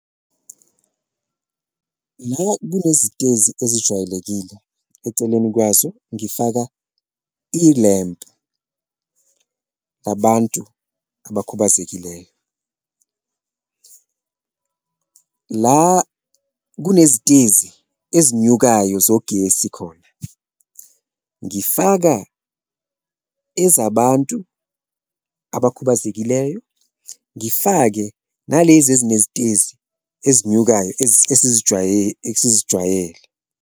La kunezitezi ezijwayelekile eceleni kwazo ngifaka ilempu abantu abakhubazekileyo, la kunezitezi ezinyukayo zogesi khona ngifaka ezabantu abakhubazekileyo, ngifake nalezi ezinezitezi ezinyukayo esizijwayele.